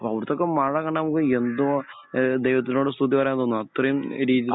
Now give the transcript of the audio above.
അവിടത്തെയൊക്കെ മഴ കാണാൻ പോയാൽ എന്താ ഏഹ് ദൈവത്തിനോട് സ്തുതി പറയാൻ തോന്നും. അത്രയും രീതിയിലാണ്